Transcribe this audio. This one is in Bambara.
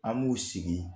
An b'u sigi